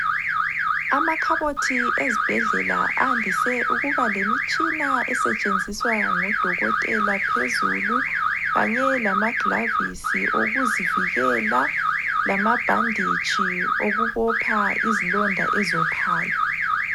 Amakhabothi ezibhedlela andise ukuba lemitshina esetshenziswa ngodokotela phezulu kanye lama gilavisi okuzivikela lamabhanditshi okubopha izilonda eziwophayo.